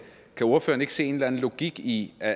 se en eller anden logik i at